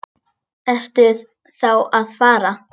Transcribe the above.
Ertu þá að fara?